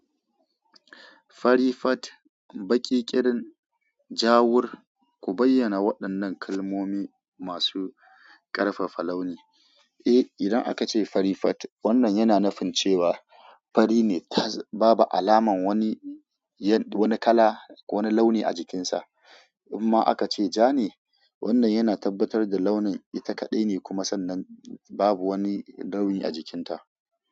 Farifat, baƙiƙirin, ja'ur, ku bayyana waɗannan kalmomi masu ƙarfafa launi. Eh, idan aka ce farifat, wannan yana nufin cewa fari ne, tas babu alamar wani kala, wani launi a jikinsa. In ma aka ce ja ne, wannan yana tabbatar da launin ita kaɗai ne kuma sannan babu wani launi a jikinta.